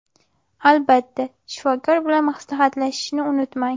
Albatta, shifokor bilan maslahatlashishni unutmang.